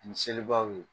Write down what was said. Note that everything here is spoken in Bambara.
Ni selibaw ye